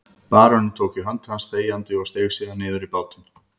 Baróninn tók í hönd hans þegjandi og steig síðan niður í bátinn.